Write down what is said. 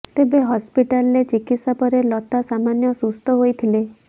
ତେବେ ହସ୍ପିଟାଲରେ ଚିକିତ୍ସା ପରେ ଲତା ସାମାନ୍ୟ ସୁସ୍ଥ ହୋଇଥିଲେ